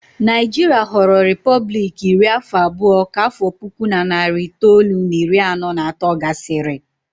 Naijiria ghọrọ repọblik iri afọ abụọ ka afọ puku na narị itoolu na iri anọ na atọ gasịrị